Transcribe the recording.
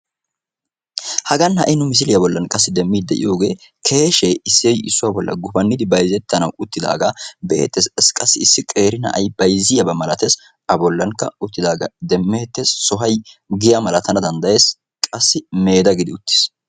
hagan ha77i nu misiliyaa bollan qassi demmiiddi de7iyoogee keeshee issoy issuwaa bolla gufannidi bayzettanawu uttidaagaa be7eetees. qassi issi qeeri na7ay bayzziyaabaa malatees. a bollankka uttidaagaa demmeettees sohoy giya malatana danddayees qassi meeda gidi uttis.